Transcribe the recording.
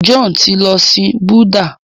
John ti ló sìn Buddha.